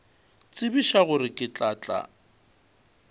tsebiša gore ke tla tla